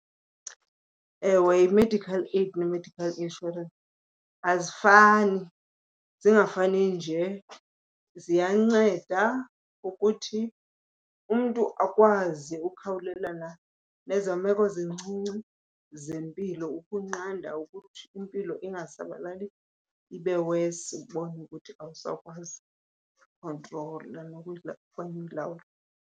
Ewe, i-medical aid ne-medical insurance azifani. Zingafani nje ziyanceda ukuthi umntu akwazi ukhawulelana nezaa meko zincinci zempilo ukunqanda ukuthi impilo ingasabalali ibe worse ubone ukuthi awusakwazi kuyikhontrola okanye uyilawula.